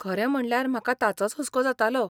खरें म्हणल्यार म्हाका ताचोच हुस्को जातालो.